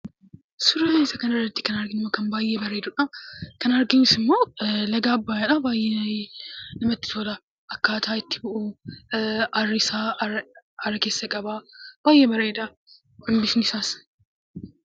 Suuraa isa kanarratti kan arginu kan baay'ee bareeduudha. Kan arginusimmoo laga Abbayyaadha. Baay'ee namatti tola. Akkaataa itti hara isaa, hara keessaa qaba. Baay'ee bareeda bifni isaas.